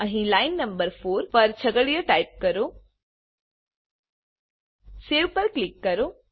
અહીં line number 4 પર છગડીયા ટાઈપ કરો Saveપર ક્લીક કરો